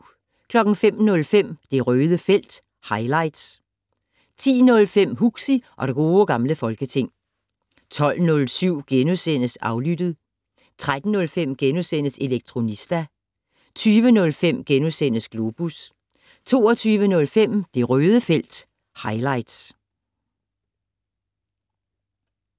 05:05: Det Røde felt - highlights 10:05: Huxi og det gode gamle folketing 12:07: Aflyttet * 13:05: Elektronista * 20:05: Globus * 22:05: Det Røde felt - highlights